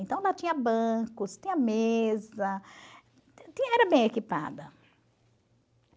Então, lá tinha bancos, tinha mesa, era bem equipada.